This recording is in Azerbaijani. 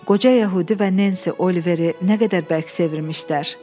Qoca yəhudi və Nensi Oliveri nə qədər bərk sevmişdilər.